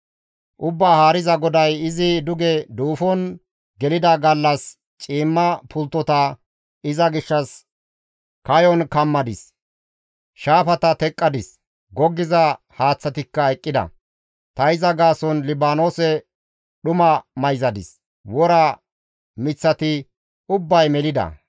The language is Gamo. «Ubbaa Haariza GODAY, izi duge duufon gelida gallas ciimma pulttota iza gishshas kayon kammadis; shaafata teqqadis; goggiza haaththatikka eqqida; ta iza gaason Libaanoose dhuma mayzadis; wora miththati ubbay melida.